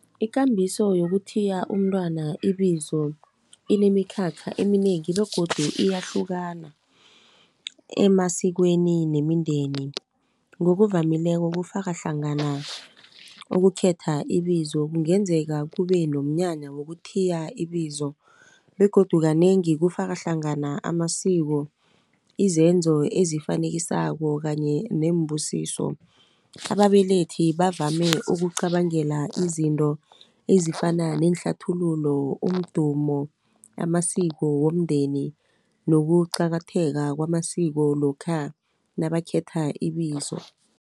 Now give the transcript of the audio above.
Ikambiso yokuthiya umntwana ibizo inemikhakha eminengi, begodu iyahlukana emasikweni nemindeni. Ngokuvamileko kufaka hlangana ukukhetha ibizo, kungenzeka kube nomnyanya wokuthiya ibizo, begodu kanengi kufaka hlangana amasiko, izenzo ezifanekisako kanye neembusiso. Ababelethi bavame ukucabangela izinto ezifana neehlathululo, umdumo, amasiko womndeni, nokuqakatheka kwamasiko lokha nabakhetha ibizo.